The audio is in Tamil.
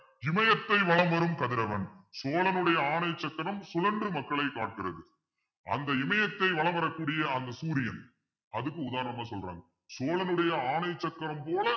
இமயத்தை வலம் வரும் கதிரவன் சோழனுடைய ஆணை சக்கரம் சுழன்று மக்களை காக்கிறது அந்த இமயத்தை வலம் வரக்கூடிய அந்த சூரியன் அதுக்கு உதாரணமா சொல்றாங்க சோழனுடைய ஆணை சக்கரம் போல